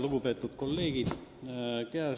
Lugupeetud kolleegid!